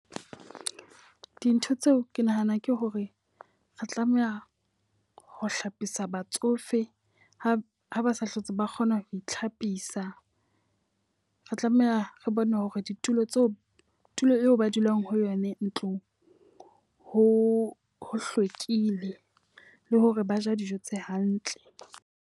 Dintho tseo ke nahanang ke hore re tlameha ho hlapisa batsofe ha ba ha ba sa hlotse ba kgona ho itlhapisa. Re tlameha re bone hore ditulo tseo tulo eo ba dulang ho yona ntlong ho ho hlwekile le hore ba ja dijo tse hantle.